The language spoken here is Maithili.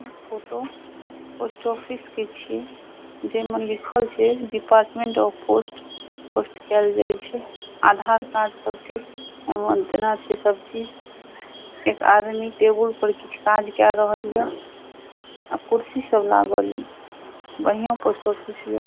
ई फोटो पोस्ट ऑफिस के छे जे में लिखल छे डिपार्टमेंट ऑफ़ पोस्ट पोस्ट कएल जाए छे। आधार कार्ड सब के। एमें देना छे सब चीज। एक आदमी टेबल पर कुछ काज कर रहलिये। अ कुर्सी सब लागल बढ़ियां पोस्ट ऑफिस हिय।